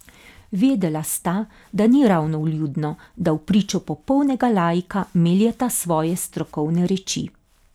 Vedela sta, da ni ravno vljudno, da vpričo popolnega laika meljeta svoje strokovne reči.